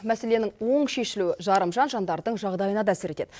мәселенің оң шешілуі жарымжан жандардың жағдайына да әсер етеді